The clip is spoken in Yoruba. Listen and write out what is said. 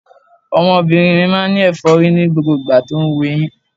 Ọmọbìnrin mi máa ń ní ẹ̀fọ́rí ní gbogbo ìgbà tó ń wu eyín.